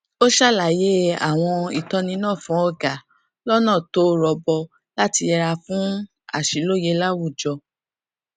ó ṣàlàyé àwọn ìtọni náà fún ọga lọnà tó rọgbọ láti yẹra fún àṣìlóye láwùjọ